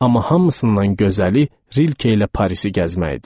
Amma hamısından gözəli Rilke ilə Parisi gəzmək idi.